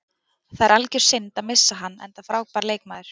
Það er algjör synd að missa hann enda frábær leikmaður.